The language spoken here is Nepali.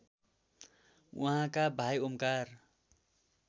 उहाँका भाइ ओमकार